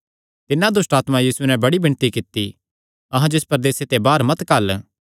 तिन्हां दुष्टआत्मां तिस नैं बड़ी विणती कित्ती अहां जो इसा प्रदेसे ते बाहर मत घल्ल